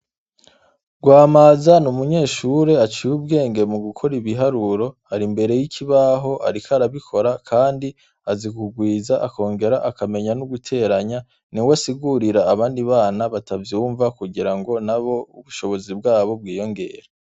Rwamaza ni umunyeshure aciye ubwenge mu gukora ibuharuro ari imbere y'ikibaho ariko arabikora kandi azi kugwiza akongera akamenya no guteranya niwe asigurira abandi bana batavyunva kugira ngo nabo ubushobozi bwabo bwiyongere.